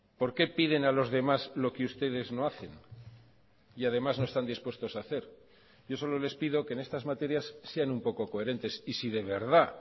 por qué piden a los demás lo que ustedes no hacen y además no están dispuestos a hacer yo solo les pido que en estas materias sean un poco coherentes y si de verdad